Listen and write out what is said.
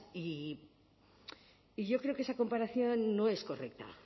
y yo creo que esa comparación no es correcta